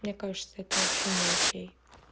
мне кажется это вообще не окей